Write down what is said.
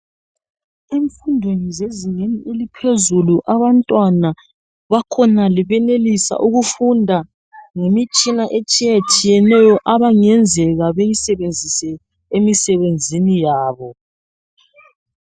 Emfundweni zezingeni eliphezulu abantwana bakhonale benelisa ukufunda ngemitshina etshiyetshiyeneyo abangenzeka beyisebenzise emisebenzini yabo .